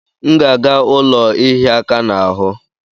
M ga aga ụlọ ihia aka n'ahụ?